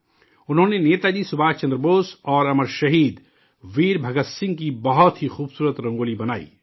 انہوں نے نیتا جی سبھاش چندر بوس اور امر شہید ویر بھگت سنگھ کی بہت ہی خوبصورت رنگولی بنائی